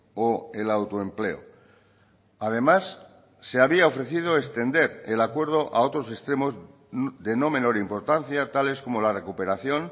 o el autoempleo además se había ofrecido extender el acuerdo a otros extremos de no menor importancia tales como la recuperación